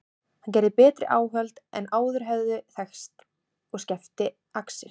Hann gerði betri áhöld en áður höfðu þekkst og skefti axir.